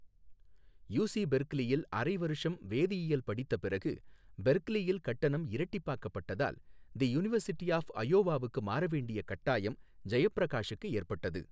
UC பெர்க்லியில் அரை வருஷம் வேதியியல் படித்த பிறகு பெர்க்லியில் கட்டணம் இரட்டிப்பாக்கப்பட்டதால், தி யுனிவர்சிட்டி ஆஃப் அயோவாவுக்கு மாற வேண்டிய கட்டாயம் ஜெயப்பிரகாஷுக்கு ஏற்பட்டது.